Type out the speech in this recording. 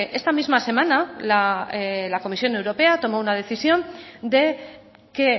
esta misma semana la comisión europea tomó una decisión de que